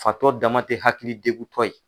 Fatɔ dama te hakili degu tɔ ye